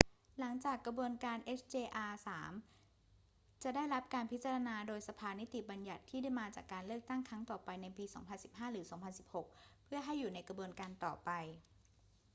หลังจากกระบวนการ hjr-3 จะได้รับการพิจารณาครั้งโดยสภานิติบัญญัติที่มาจากการเลือกตั้งครั้งต่อไปในปี 2015 หรือ 2016 เพื่อให้อยู่ในกระบวนการต่อไป